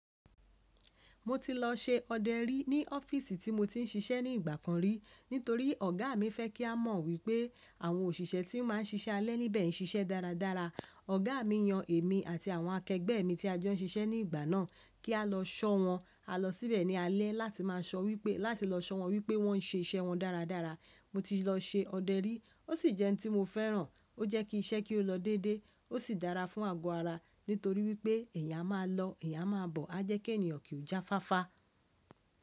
Mo ti lọ ṣe ọdẹ rí ní ọ́fíìsì tí mo ti ń ṣiṣẹ́ ní ìgbà kan rí. Nítorí ọ̀gá mi fẹ́ kí a mọ̀ wípé àwọn òṣìṣẹ́ tí ó máa ń ṣiṣẹ́ alẹ́ níbẹ̀ ń ṣiṣẹ́ dáradára. Ọ̀gá mi yan èmi àti àwọn akẹgbẹ́ mi tí a jo ń ṣiṣẹ́ ní ìgbà náà kí á lọ sọ wọn. A lọ síbẹ̀ ní alẹ́ láti maa so wipe--lati lọ sọ wọn wípé wọ́n ń ṣe iṣẹ́ wọn dáradára. Mo ti lọ ṣe ọdẹ rí, ó sì jẹ́ n tí mo fẹ́ràn. Ó jẹ́ kí iṣẹ́ kí ó lọ dédé ó sì dára fún àgọ́ ara nítorí wípé ẹ̀eyàn a máa lọ ẹ̀eyàn a máa bọ̀, á jẹ́ kí ènìyàn kí ó jáfáfá.